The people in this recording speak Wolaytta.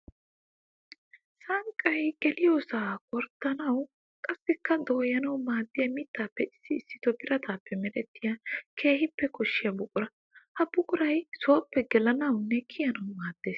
Sanqqay geliyossa gorddannawu qassikka dooyannawu maadiya mittappe issi issitto birattappe merettiya keehippe koshshiya buqura. Ha buquray sooppe gelanawunne kiyannawu maades.